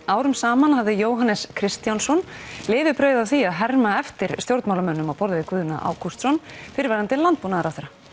árum saman hafði Jóhannes Kristjánsson lifibrauð af því að herma eftir stjórnmálamönnum á borð við Guðna Ágústsson fyrrverandi landbúnaðarráðherra